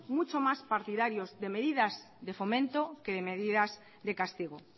mucho más partidarios de medidas de fomento que de medidas de castigo